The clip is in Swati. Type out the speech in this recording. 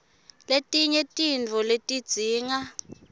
letinye tintfo letidzinga